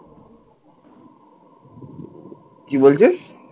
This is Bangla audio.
কি বলছিস?